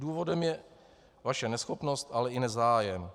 Důvodem je vaše neschopnost, ale i nezájem.